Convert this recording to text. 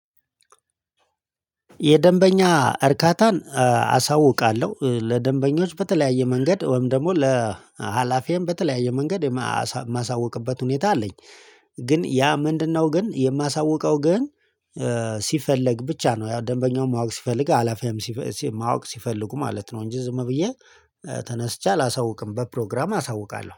የደንበኛ እርካታን አሳውቃለሁ ለደንበኞች በተለያየ መንገድ ወይም ደግሞ ለሀላፊየም በተለያየ መንገድ የማሳውቅበት ሁኔታ አለኝ። ግን ያ ምንድነው? ግን የማሳውቀው ግን ሲፈለግ ብቻ ነው። ያው ደንበኛው ማወቅ ሲፈልግ ኃላፊየም ማወቅ ሲፈልጉ ማለት ነው። እንጂ ዝም ብዬ ተነስቼ አላሳውቅም። በፕሮግራም አሳውቃለሁ